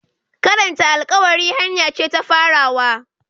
Karanta alƙawari hanya ce ta farawa.